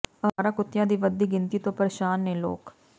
ਆਵਾਰਾ ਕੁੱਤਿਆਂ ਦੀ ਵੱਧਦੀ ਗਿਣਤੀ ਤੋਂ ਪਰੇਸ਼ਾਨ ਨੇ ਲੋਕ